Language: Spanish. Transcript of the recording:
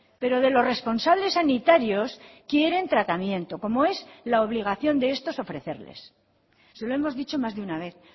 pero de los responsables sanitarios quieren tratamiento como es la obligación de estos ofrecerles se lo hemos dicho más de una vez